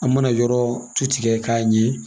An mana yɔrɔ tu tigɛ k'a ɲɛ